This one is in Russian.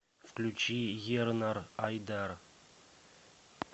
включи ернар айдар